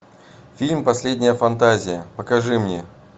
фильм последняя фантазия покажи мне